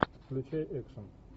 включай экшн